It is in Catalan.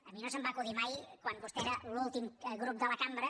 a mi no se’m va acudir mai quan vostè era l’últim grup de la cambra